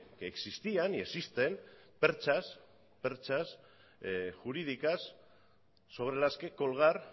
que existían y existen perchas perchas jurídicas sobre las que colgar